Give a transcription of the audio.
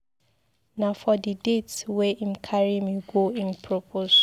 Na for di date wey im carry me go im propose.